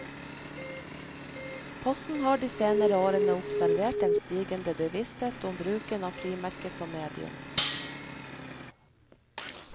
Posten har de senere årene observert en stigende bevissthet om bruken av frimerket som medium.